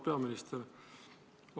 Auväärt peaminister!